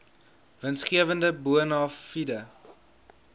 winsgewende bona fide